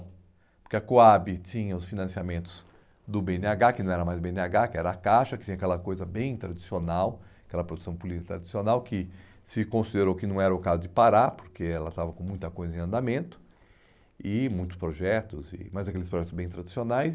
Porque a COAB tinha os financiamentos do bê ene agá, que não era mais bê ene agá, que era a Caixa, que tinha aquela coisa bem tradicional, aquela produção política tradicional, que se considerou que não era o caso de parar, porque ela estava com muita coisa em andamento, e muitos projetos, e mas aqueles projetos bem tradicionais.